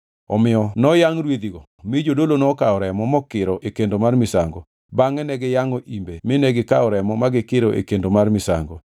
Omiyo noyangʼ rwedhigo mi jodolo nokawo remo mokiro e kendo mar misango, bangʼe ne giyangʼo imbe mine gikawo remo ma gikiro e kendo mar misango.